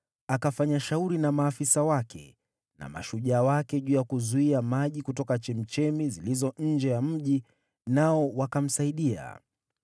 akafanya shauri na maafisa wake na mashujaa wake juu ya kuzuia maji kutoka chemchemi zilizo nje ya mji, nao wakamsaidia.